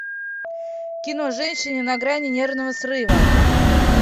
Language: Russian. кино женщины на грани нервного срыва